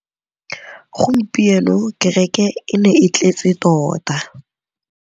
Gompieno kêrêkê e ne e tletse tota.